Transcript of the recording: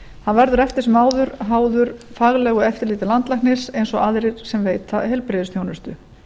hann verður eftir sem áður háður faglegu eftirliti landlæknis eins og aðrir sem veita heilbrigðisþjónustu